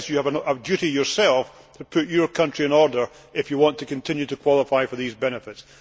It says you have a duty yourself to put your country in order if you want to continue to qualify for these benefits'.